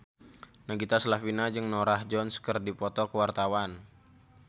Nagita Slavina jeung Norah Jones keur dipoto ku wartawan